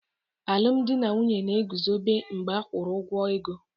Alụmdi na nwunye na-eguzobe mgbe a kwụrụ ụgwọ ego.